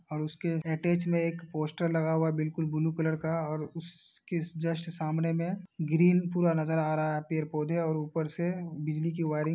और उसके अटैच में एक पोस्टर लगा हुआ बिल्कुल ब्लू कलर का और उसके जस्ट सामने में ग्रीन पूरा नजर आ रहा है पेड़ पौधे और ऊपर से बिजली की वायरिंग --